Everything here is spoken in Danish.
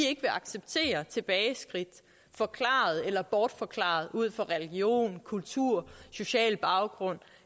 ikke acceptere tilbageskridt forklaret eller bortforklaret ud fra religion kultur social baggrund